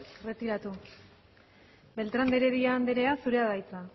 erretiratu beltrán de heredia andrea zurea da hitza